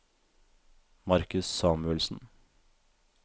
Markus Samuelsen